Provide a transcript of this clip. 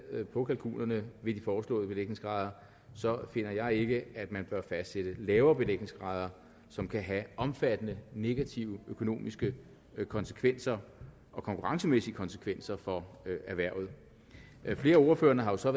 på kalkunerne ved de foreslåede belægningsgrader finder jeg ikke at man bør fastsætte lavere belægningsgrader som kan have omfattende negative økonomiske konsekvenser og konkurrencemæssige konsekvenser for erhvervet flere af ordførerne har jo så